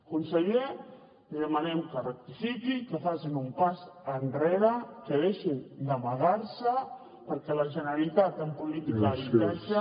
conseller li demanem que rectifiqui i que facin un pas enrere que deixin d’amagar se perquè la generalitat en política d’habitatge